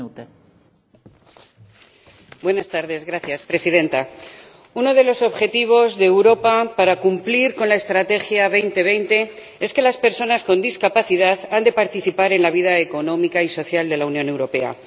Señora Presidenta, uno de los objetivos de Europa para cumplir con la Estrategia 2020 es que las personas con discapacidad han de participar en la vida económica y social de la Unión Europea.